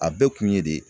A bɛɛ kun ye de